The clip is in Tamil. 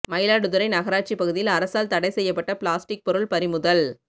மயிலாடுதுறை நகராட்சி பகுதியில் அரசால் தடை செய்யப்பட்ட பிளாஸ்டிக் பொருள் பறிமுதல்